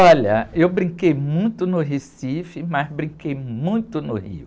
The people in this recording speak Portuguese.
Olha, eu brinquei muito no Recife, mas brinquei muito no Rio.